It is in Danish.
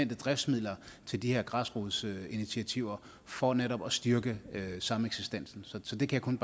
driftsmidler til de her græsrodsinitiativer for netop at styrke sameksistensen så det kan